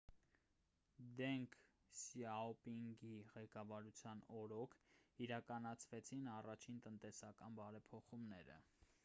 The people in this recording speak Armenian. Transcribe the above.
դենգ սյաոպինգի ղեկավարության օրոք իրականացվեցին առաջին տնտեսական բարեփոխումները